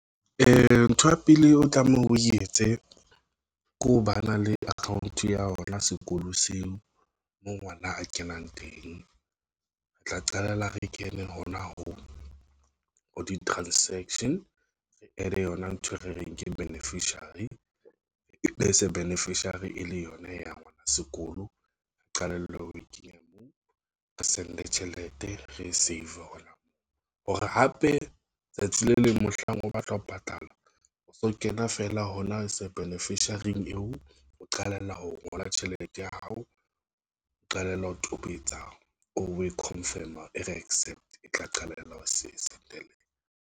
Ntho ya pele o tlameha o etse ko ba na le account ya hona sekolo seo mo ngwana a kenang teng, re tla qalella re kene hona ho di-transaction e le yona ntho e re reng ke beneficiary, e se beneficiary, e le yona ya ngwana sekolo qalellwe ho kenya moo re send tjhelete re e safe or moo hore hape tsatsi le leng mohlang o batla ho patala o so kena fela hona sa beneficiary eo o qalella ho ngola tjhelete ya hao, o qalella ho tobetsa o confirm-e re accept-e tla qalella o se setelele.